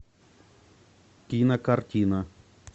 кинокартина